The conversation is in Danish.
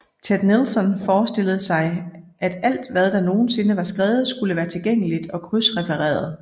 Ted Nelson forestillede sig at alt hvad der nogensinde var skrevet skulle være tilgængeligt og krydsrefereret